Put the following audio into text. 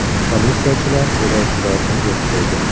Politsiyachilar terrorchilarni yo‘q qildi.